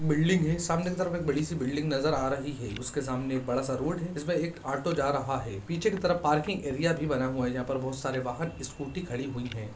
building है सामने कि तरफ एक बड़ी सी बिल्डिंग नजर आ रही है उसके सामने एक बड़ा सा रोड है जिसपे एक ऑटो जा रहा है पीछे कि तरफ पार्किंग एरिया भी बना हुआ है यहाँ पर बहोत सारे वाहन स्कूटी खड़ी हुई हैं